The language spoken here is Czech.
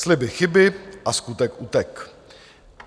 Sliby chyby a skutek utek.